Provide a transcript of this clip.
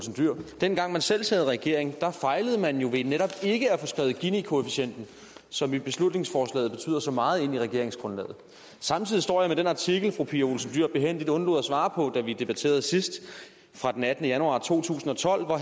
dyhr dengang man selv sad i regering fejlede man jo ved netop ikke at få skrevet ginikoefficienten som i beslutningsforslaget betyder så meget ind i regeringsgrundlaget samtidig står jeg med den artikel fru pia olsen dyhr behændigt undlod at svare på da vi debatterede sidst fra den attende januar to tusind og tolv hvor